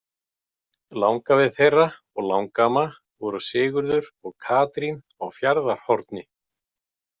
Langafi þeirra og langamma voru Sigurður og Katrín á Fjarðarhorni.